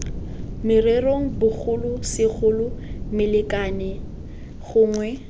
morerong bogolo segolo molekane gongwe